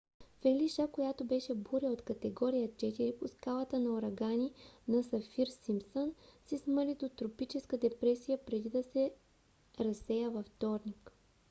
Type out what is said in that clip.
фелиша която беше буря от категория 4 по скалата за урагани на сафир-симпсън се смали до тропическа депресия преди да се разсея във вторник